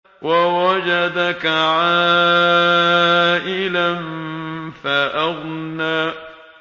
وَوَجَدَكَ عَائِلًا فَأَغْنَىٰ